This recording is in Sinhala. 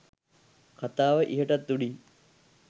කතාව ඉහටත් උඩින්.